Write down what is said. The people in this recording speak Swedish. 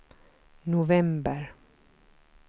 november